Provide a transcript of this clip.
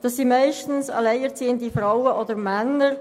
Das sind meistens alleinerziehende Frauen oder Männer.